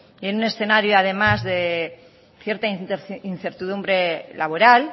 en un escenario además de cierta incertidumbre laboral